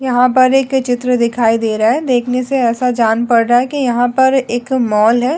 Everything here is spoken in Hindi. यहां पर एक चित्र दिखाई दे रहा है देखने से ऐसा जान पड़ रहा है कि यहां पर एक मॉल है।